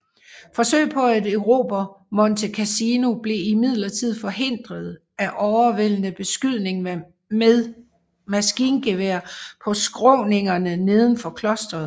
Forsøg på at erobre Monte Cassino blev imidlertid forhindret af overvældende beskydning ved maskingeværer på skråningerne nedenfor klosteret